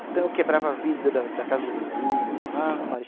Então eu quebrava a vida da da casa do vizinho. Ave Maria